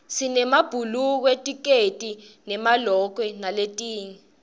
sinemabhulukwe tikedi nemalokwe naletinye